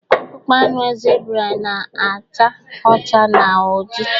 akpụkpọ anụ zebra na-acha ọcha na oji